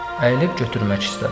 Əyilib götürmək istədi.